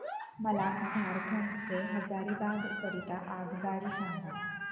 मला झारखंड से हजारीबाग करीता आगगाडी सांगा